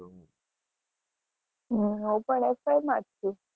હમ ઉપર